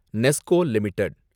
NESCO limited